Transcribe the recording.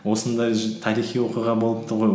осындай тарихи оқиға болыпты ғой